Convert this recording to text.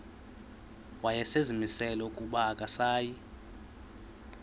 wayezimisele ukuba akasayi